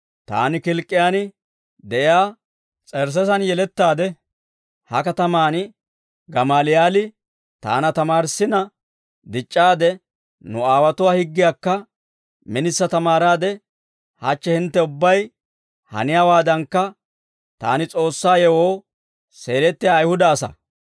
«Taani Kilk'k'iyaan de'iyaa S'ersseesen yelettaade, ha katamaan Gamaaliyaali taana tamaarissina dic'c'aade, nu aawotuwaa higgiyaakka minisa tamaaraade, hachche hintte ubbay haniyaawaadankka, taani S'oossaa yewoo seelettiyaa Ayihuda asaa.